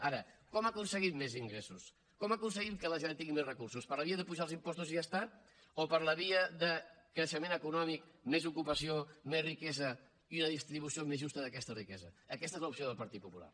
ara com aconseguim més ingressos com aconseguim que la generalitat tingui més recursos per la via d’apujar els impostos i ja està o per la via de creixement econòmic més ocupació més riquesa i una distribució més justa d’aquesta riquesa aquesta és l’opció del partit popular